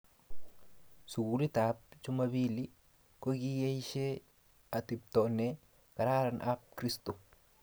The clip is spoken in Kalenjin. Sukulit ab jumambili kokiesha atepto ne kararan ab kirsto